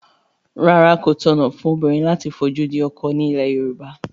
Rárá, kò tọ̀nà fún obìnrin láti fojú di ọkọ ní ilẹ̀ Yorùbá